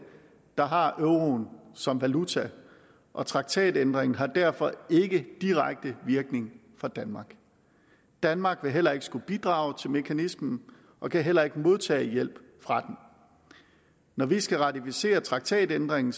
der har euroen som valuta og traktatændringen har derfor ikke direkte virkning for danmark danmark vil heller ikke skulle bidrage til mekanismen og kan heller ikke modtage hjælp fra den når vi skal ratificere traktatændringen